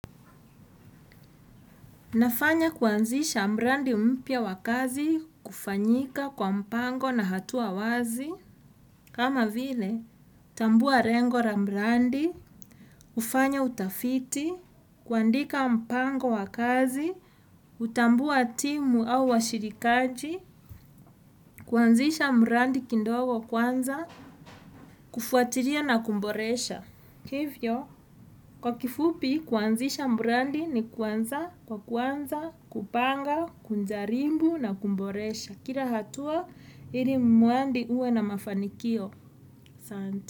Nafanya kuanzisha mradi mpya wa kazi kufanyika kwa mpango na hatua wazi. Kama vile, tambua lengo la mradi, ufanye utafiti, kuandika mpango wakazi, kutambua timu au washirikaji, kuanzisha mradi kidogo kwanza, kufuatilia na kuboresha. Kwa kifupi, kuanzisha mradi ni kuanza, kwa kuanza, kupanga, kujaribu na kuboresha. Kila hatua, ili mradi uwe na mafanikio.